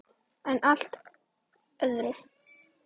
En að allt öðru!